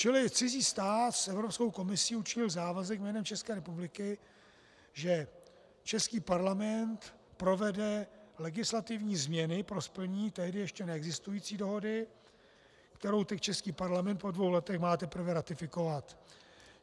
Čili cizí stát s Evropskou komisí učinil závazek jménem České republiky, že český Parlament provede legislativní změny pro splnění tehdy ještě neexistující dohody, kterou teď český Parlament po dvou letech má teprve ratifikovat.